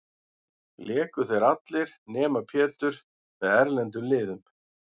Léku þeir allir, nema Pétur, með erlendum liðum.